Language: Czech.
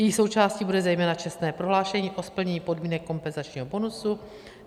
Její součástí bude zejména čestné prohlášení o splnění podmínek kompenzačního bonusu.